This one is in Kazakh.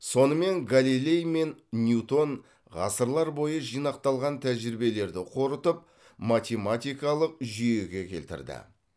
сонымен галилей мен ньютон ғасырлар бойы жинақталған тәжірибелерді қорытып математикалық жүйеге келтірді